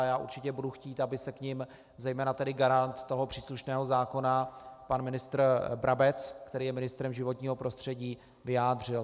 A já určitě budu chtít, aby se k nim zejména tedy garant toho příslušného zákona, pan ministr Brabec, který je ministrem životního prostředí, vyjádřil.